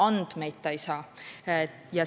Andmeid ta ei saa.